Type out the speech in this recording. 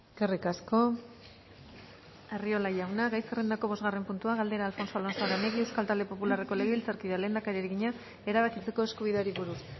eskerrik asko arriola jauna gai zerrendako bosgarren puntua galdera alfonso alonso aranegui euskal talde popularreko legebiltzarkideak lehendakariari egina erabakitzeko eskubideari buruz